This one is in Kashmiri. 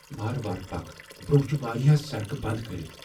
وارٕ وارٕ پكھ ۔ برٛۄنٛہہ چِھ واریاہ سڑکہٕ بنٛد کرِتھ۔